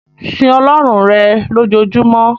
Sin Ọlọ́run rẹ̀ lojoojumọ́!